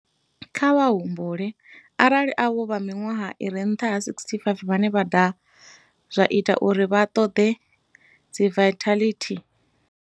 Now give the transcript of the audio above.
Kha vha humbule arali avho vha miṅwaha i re nṱha ha 65 vhane vha daha, zwa itea uri vha ṱoḓe dziventhiḽeithi.